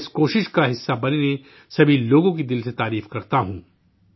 میں اس کوشش کا حصہ بنے سبھی لوگوں کی دل سے تعریف کرتا ہوں